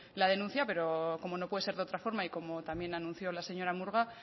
la denuncia pero como no puede ser de otra forma y como también anunció la señora murga